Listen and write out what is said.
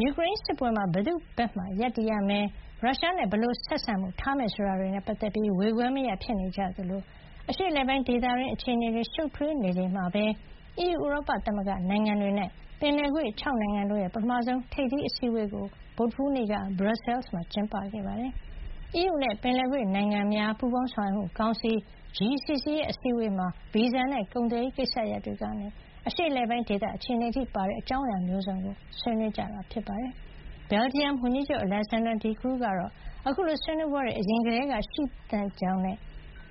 ယူကရိန်းစစ်ပွဲမှာ ဘယ်သူ့ဘက်မှာ ရပ်တည်ရမယ်၊ ရုရှားနဲ့ဘယ်လိုဆက်ဆံမှုထားမယ်ဆိုတာတွေနဲ့ ပတ်သက်ပြီး ဝေခွဲမရဖြစ်နေသလို အရှေ့အလယ်ပိုင်းဒေသတွင်း အခြေအနေတွေ ရှုပ်ထွေးနေချိန်မှာပဲ အီးယူ- ဥရောပသမဂ္ဂနိုင်ငံတွေနဲ့ပင်လယ်ကွေ့ ၆ နိုင်ငံတို့ရဲ့ ပထမဆုံး ထိပ်သီးအစည်းဝေးကို ဗုဒ္ဓဟူးနေ့က ဘရပ်ဆဲလ်မှာ ကျင်းပခဲ့ပါတယ်။ အီးယူနဲ့ ပင်လယ်ကွေ့နိုင်ငံများ ပူးပေါင်းဆောင်ရွက်မှုကောင်စီ GCC ရဲ့ အစည်းဝေးမှာ ဗီဇာနဲ့ ကုန်သွယ်ရေးကိစ္စရပ်တွေကနေ အရှေ့အလယ်ပိုင်း ဒေသ အခြေနေ အထိပါဝင်တဲ့ အကြောင်းရာ မျိုးစုံကို ဆွေးနွေးကြတာပါ။ ဘယ်လ်ဂျီယန်ဝန်ကြီးချုပ် Alexander De Croo ကတော့ အခုလို ဆွေးနွေးပွဲတွေ အရင်ကတည်းက ရှိဖို့သင့်ကြောင်းနဲ့